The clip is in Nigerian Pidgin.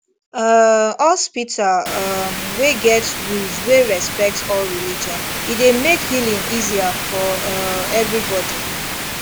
um hospital um wey get rules wey respect all religion e dey make healing easier for um everybody